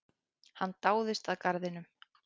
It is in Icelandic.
Hann dáðist að garðinum.